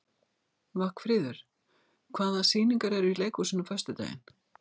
Vagnfríður, hvaða sýningar eru í leikhúsinu á föstudaginn?